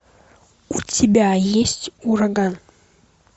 у тебя есть ураган